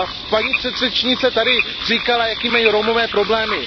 Paní předřečnice tady říkala, jaké mají Romové problémy.